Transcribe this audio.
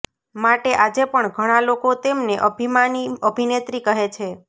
માટે આજે પણ ઘણા લોકો તેમને અભિમાની અભિનેત્રી કહે છે